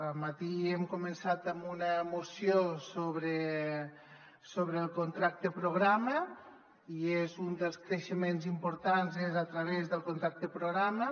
al matí hem començat amb una moció sobre el contracte programa i un dels creixements importants és a través del contracte programa